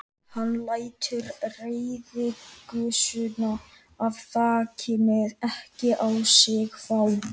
Hann lætur reiðigusuna af þakinu ekki á sig fá.